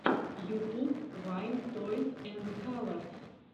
ютуб вайн тойс энд калорс